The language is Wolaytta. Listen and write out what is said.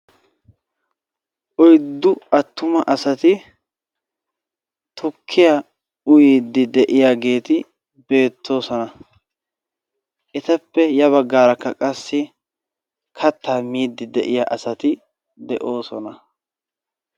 Oyddu attuma asati tukkiyaa uyiidi de'iyageti beettoosona. Rtappe ya baggaarakka qassi kattaa miidi de'iya asati de"oosona.